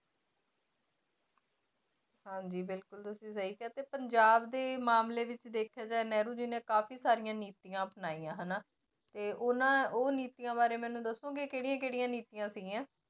ਹਾਂਜੀ ਬਿਲਕੁਲ ਤੁਸੀਂ ਸਹੀ ਕਿਹਾ ਤੇ ਪੰਜਾਬ ਦੇ ਮਾਮਲੇ ਵਿੱਚ ਦੇਖਿਆ ਜਾਏ ਨਹਿਰੂ ਜੀ ਨੇ ਕਾਫ਼ੀ ਸਾਰੀਆਂ ਨੀਤੀਆਂ ਅਪਣਾਈਆਂ ਹਨਾ ਤੇ ਉਹਨਾਂ ਉਹ ਨੀਤੀਆਂ ਬਾਰੇ ਮੈਨੂੰ ਦੱਸੋਗੇ ਕਿਹੜੀਆਂ ਕਿਹੜੀਆਂ ਨੀਤੀਆਂ ਸੀਗੀਆਂ।